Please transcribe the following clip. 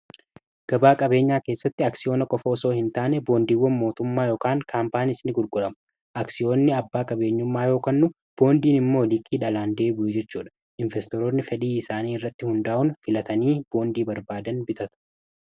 .Gabaa qabeenyaa keessatti aksiyoona qofa osoo hin taane boondiiwwan mootummaa yookaan kaampaanii isin gurguramu aksiyoonni abbaa qabeenyummaa yookan boondiin immoo liikii dhalaan deebi'u jechuu dha. Investoroonni fedhii isaanii irratti hundaa'un filatanii boondii barbaadan bitatu